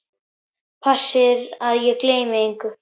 Passir að ég gleymi engu.